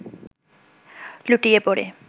লুটিয়ে পড়ে